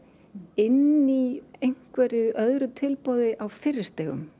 inni í einhverju öðru tilboði á fyrri stigum